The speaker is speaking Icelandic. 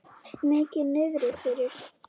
Mikið niðri fyrir.